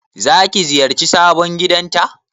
Zaki ziyarci sabon gidanta?